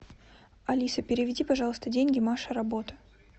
алиса переведи пожалуйста деньги маша работа